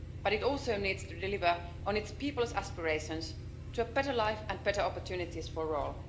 but it also needs to deliver on its people's aspirations to a better life and better opportunities for all.